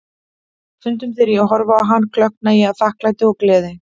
Stundum þegar ég horfi á hann, klökkna ég af þakklæti og gleði.